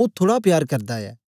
ओ थुड़ा प्यार करदा ऐ